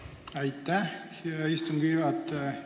Aitäh, hea istungi juhataja!